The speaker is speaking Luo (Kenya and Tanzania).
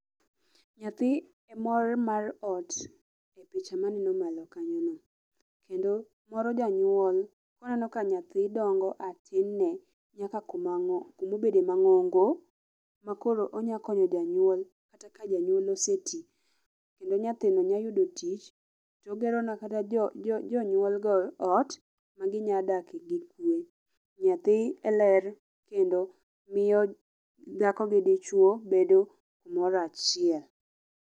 Nyathi e mor mar ot, e picha maneno malo kanyono. Kendo moro janyuol koneno ka nyathi dongo a tin ne ka kumobede mang'ongo makoro onyalo konyo janyuol kata ka janyuol ose ti. Kendo nyathino nyalo yudo tich togero nikata jonyuol go ot magi nya dakie gi kwe. Nyathi e ler kendo miyo dhako gi dichwo bedo gimoro achiel